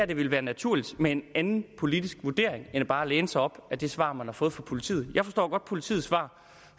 det ville være naturligt med en anden politisk vurdering end bare at læne sig op ad det svar man har fået fra politiet jeg forstår godt politiets svar